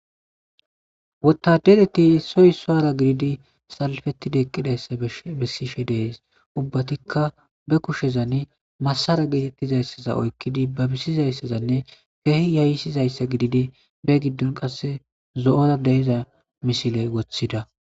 Wotadereti isoy issara gididi salpeti eqidays dees ubatikka bekushen masaraza gizayssa oyqidi babisizzaysanne kehi yayisizzayssa ididi begidon qasi zo'za deyzza missile wothida.